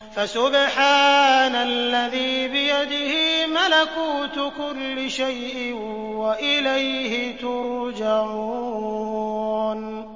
فَسُبْحَانَ الَّذِي بِيَدِهِ مَلَكُوتُ كُلِّ شَيْءٍ وَإِلَيْهِ تُرْجَعُونَ